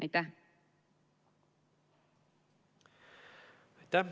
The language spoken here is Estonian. Aitäh!